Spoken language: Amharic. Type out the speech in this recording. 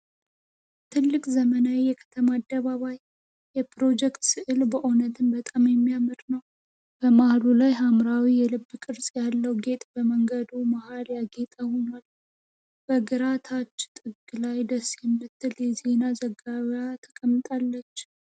ትልቅ ዘመናዊ የከተማ አደባባይ የፕሮጀክት ስዕል በእውነትም በጣም የሚያምር ነው። በመሃሉ ላይ ሐምራዊ የልብ ቅርጽ ያለው ጌጥ በመንገዱ መሃል ያጌጠ ሆኗል። በግራ ታች ጥግ ላይ ደስ የምትል የዜና ዘጋቢዋ ተቀምጣለች።